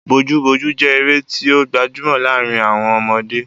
Bojúbojú jẹ́ eré tí ó gbajúmọ̀ láàrin àwọn ọmọdé.